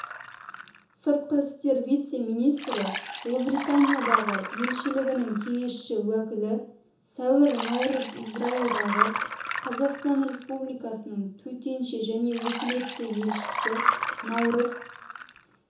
сыртқы істер вице-министрі ұлыбританиядағы елшілігінің кеңесші-уәкілі сәуір наурыз израильдағы қазақстан республикасының төтенше және өкілетті елшісі наурыз